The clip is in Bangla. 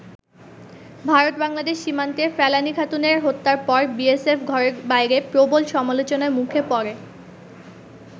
ভারত-বাংলাদেশ সীমান্তে ফেলানি খাতুনের হত্যার পর বিএসএফ ঘরে-বাইরে প্রবল সামলোচনার মুখে পড়ে।